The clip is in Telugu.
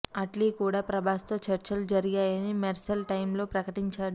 అట్లీ కూడా ప్రభాస్ తో చర్చలు జరిగాయని మెర్సెల్ టైమ్ లోనే ప్రకటించాడు